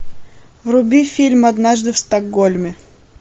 вруби фильм однажды в стокгольме